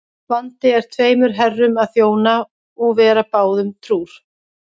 Vandi er tveimur herrum að þjóna og vera báðum trúr.